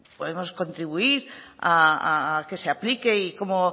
podemos contribuir a que se aplique y como